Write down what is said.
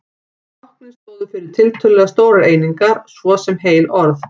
Táknin stóðu fyrir tiltölulega stórar einingar, svo sem heil orð.